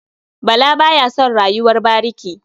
Bala ba ya son rayuwar bariki.